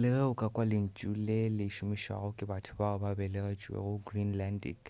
le ge o ka kwa lentšu le le šomišwago ke batho bao ba belegetšwego greenlandic